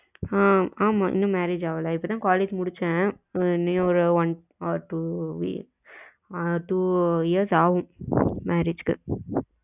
அஹ் ஆமா இன்னும் marriage அகல இப்பதான் college முடுச்சேன் இன்னும் one or two uh two years ஆகும் marriage க்கு